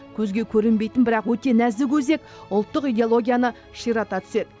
көзге көрінбейтін бірақ өте нәзік өзек ұлттық идеологияны ширата түседі